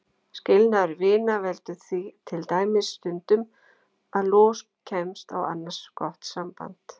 Skilnaður vina veldur því til dæmis stundum að los kemst á annars gott samband.